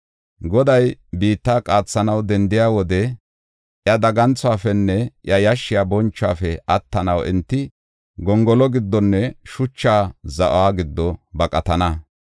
Goday biitta qaathanaw dendiya wode iya daganthuwafenne iya yashshiya bonchuwafe attanaw enti gongolo giddonne shucha za7o giddo baqatana.